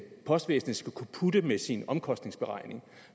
postvæsenet skal kunne putte med sin omkostningsberegning